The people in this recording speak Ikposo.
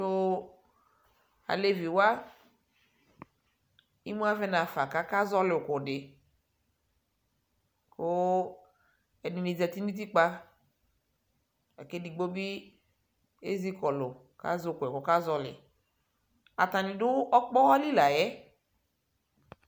To alevi wa imu avɛ nafa kaka zɔle uko de ko ɛde ne zati no utikpa la ke digbo be ezikɔlu ka zɛ ukoɛ kɔka zɔleAtane do ɔkpɔha li layɛ